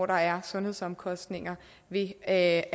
der er sundhedsomkostninger ved at